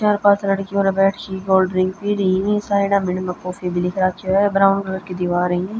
चार पांच लड़की उरे बैठ क कोल्ड ड्रिंक पी री हं साइडा म इनमें कॉफी भी लिख राख्यो हं ब्राउन कलर की दीवार हं।